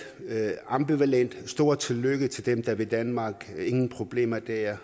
er jeg ambivalent stort tillykke til dem der vil danmark ingen problemer der